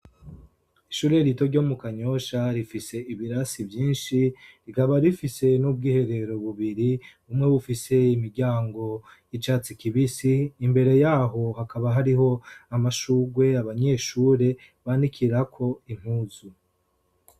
Ishure rito ryo mu kanyosha rifise ibirasi vyinshi, rikaba rifise n'ubwiherero bubiri. Bumwe bufise imiryango y'icatsi kibisi, imbere yaho hakaba hariho amashurwe abanyeshure banikirako impuzu.